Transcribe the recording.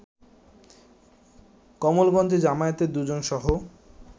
কমলগঞ্জে জামায়াতের দুজনসহ